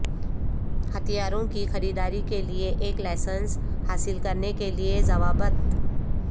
ہتھیاروں کی خریداری کے لئے ایک لائسنس حاصل کرنے کے لئے ضوابط